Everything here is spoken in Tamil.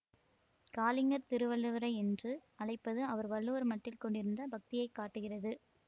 காலிங்கர் திருவள்ளுவரை என்று அழைப்பது அவர் வள்ளுவர் மட்டில் கொண்டிருந்த பக்தியைக் காட்டுகிறது